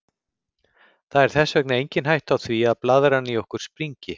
Það er þess vegna engin hætta á því að blaðran í okkur springi.